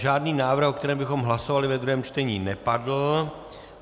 Žádný návrh, o kterém bychom hlasovali ve druhém čtení, nepadl.